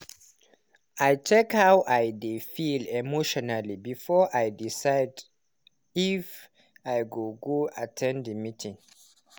i check how i dey feel emotionally before i decide if i go at ten d the meeting.